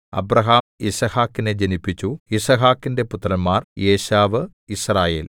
Abraham യിസ്ഹാക്കിനെ ജനിപ്പിച്ചു യിസ്ഹാക്കിന്റെ പുത്രന്മാർ ഏശാവ് യിസ്രായേൽ